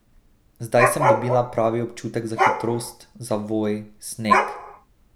Zdaj sem dobila pravi občutek za hitrost, zavoj, sneg.